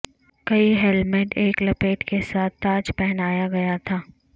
کئی ہیلمیٹ ایک لپیٹ کے ساتھ تاج پہنایا گیا تھا